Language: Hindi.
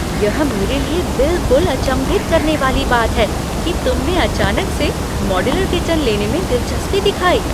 यह मेरे लिए बिलकुल अचम्भित करने वाली बात है कि तुमने अचानक से मॉड्यूलर किचन लेने में दिलचस्पी दिखाई।